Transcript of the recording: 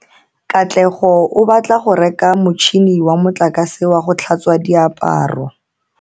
Katlego o batla go reka motšhine wa motlakase wa go tlhatswa diaparo.